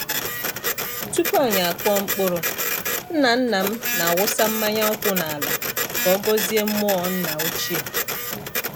Tupu anyi akụọ mkpụrụ, nna-nna m na-awụsa mmanya nkwụ n’ala ka ọ gọzie mmụọ nna ochie.